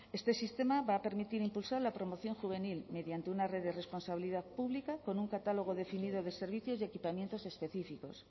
este sistema va a permitir impulsar la promoción juvenil mediante una red de responsabilidad pública con un catálogo definido de servicios y equipamientos específicos